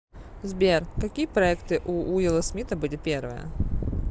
сбер какие проекты у уилла смита были первые